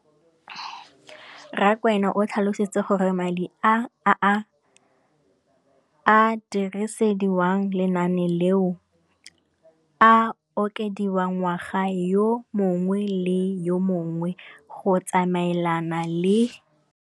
Rakwena o tlhalositse gore madi a a dirisediwang lenaane leno a okediwa ngwaga yo mongwe le yo mongwe go tsamaelana le.